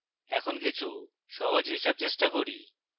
এখন কিছু সহজ হিসাব চেষ্টা করি